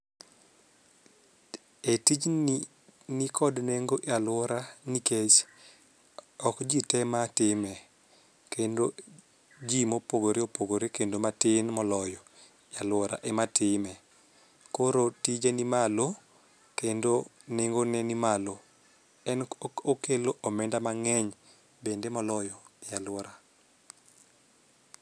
E tijni nikod nengo e aluora nikech ok jii te matime. Kendo jii mopogore opogore kendo matin moloyo e aluora ema time. Koro tije ni malo kendo nengo ne ni malo . En okelo omenda mang'eny bende moloyo e aluora.